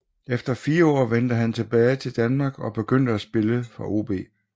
Efter fire år vendte han hjem til Danmark og begyndte at spille for OB